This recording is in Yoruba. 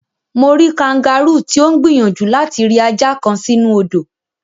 Mo rí kangáróò tí ó ń gbìyànjú láti ri ajá kan sínú odò.